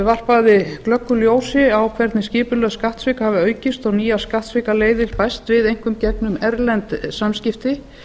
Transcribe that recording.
varpaði glöggu ljósi á hvernig skipulögð skattsvik hafa aukist og nýjar skattsvikaleiðir bæst við einkum gegnum erlend samskipti